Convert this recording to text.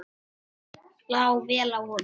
Það lá vel á honum.